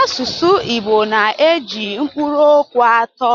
Asụsụ Igbo na-eji mkpụrụokwu atọ